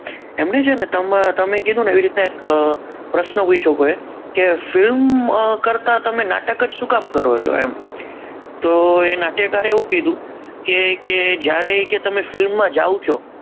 એમની છે ને તમે જેમ કીધું એવી રીતના એક પ્રશ્ન પૂછ્યો કોઈએ કે ફિલ્મ કરતાં તમે નાટક જ શું કામ કરો છો એમ, તો એ નાટ્યકારે એવું કીધું કે કે જ્યારે તમે film માં જાઓ છો